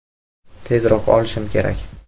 Tezroq olishim kerak.